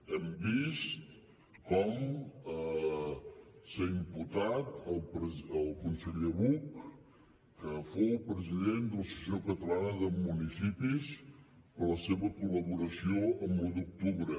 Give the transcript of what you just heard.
hem vist com s’ha imputat el conseller buch que fou president de l’associació catalana de municipis per la seva col·laboració amb l’un d’octubre